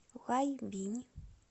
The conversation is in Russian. лайбинь